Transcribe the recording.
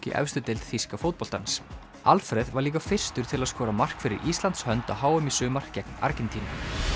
í efstu deild þýska fótboltans Alfreð var líka fyrstur til að skora mark fyrir Íslands hönd á h m í sumar gegn Argentínu